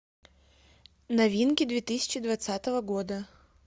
новинки две тысячи двадцатого года